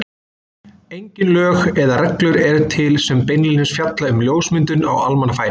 Engin lög eða reglur eru til sem beinlínis fjalla um ljósmyndun á almannafæri.